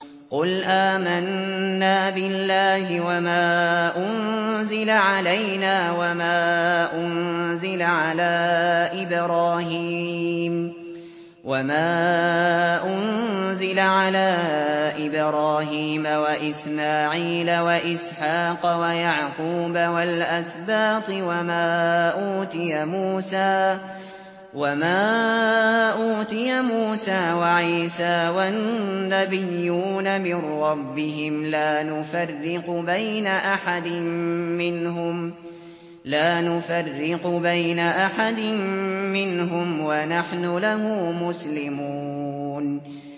قُلْ آمَنَّا بِاللَّهِ وَمَا أُنزِلَ عَلَيْنَا وَمَا أُنزِلَ عَلَىٰ إِبْرَاهِيمَ وَإِسْمَاعِيلَ وَإِسْحَاقَ وَيَعْقُوبَ وَالْأَسْبَاطِ وَمَا أُوتِيَ مُوسَىٰ وَعِيسَىٰ وَالنَّبِيُّونَ مِن رَّبِّهِمْ لَا نُفَرِّقُ بَيْنَ أَحَدٍ مِّنْهُمْ وَنَحْنُ لَهُ مُسْلِمُونَ